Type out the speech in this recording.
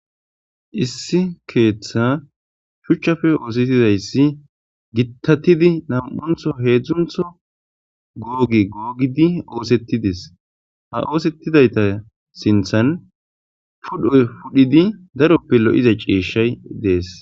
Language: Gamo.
Issi keththa shuuchchappe oosettidayssi giittatidi nama'anththo hedzdzanththo goge gogidii oosettides ha oosettidaytta sinththan ha puudhdhoy puudhidii daaroppe lo'iza ciishshay dees